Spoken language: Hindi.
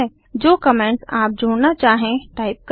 जो कमेंट्स आप जोड़ना चाहें टाइप करें